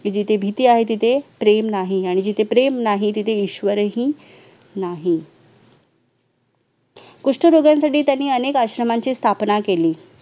जिथे भीती आहे तिथे प्रेम नाही आणि जिथे प्रेम नाही तिथे ईश्वरही नाही. कुष्ठरोगांसाठी त्यांनी अनेक आश्रमाची स्थापना केली